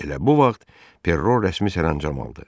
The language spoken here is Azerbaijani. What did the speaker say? Elə bu vaxt Perro rəsmi sərəncam aldı.